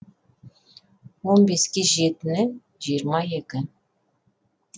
он беске жетіні жиырма екі